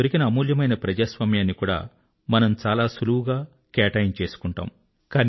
మనకు దొరికిన అమూల్యమైన ప్రజాస్వామ్యాన్ని కూడా మనము చాలా సులువుగా గ్రాంటెడ్ గా తీసుకుంటాము